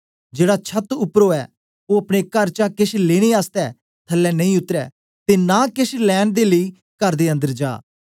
जेड़ा छत उपर ओ अपने कर चा केश लेने आसतै थल्लै नेई उतरे ते नां केछ लैंन दे लेई कर दे अन्दर जा